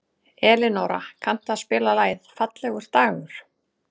Elinóra, kanntu að spila lagið „Fallegur dagur“?